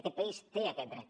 aquest país té aquest dret